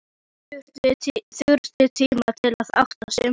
Þurfti tíma til að átta sig.